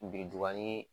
Biriduga ni